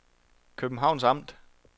Københavns Amt